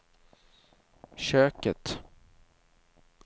köket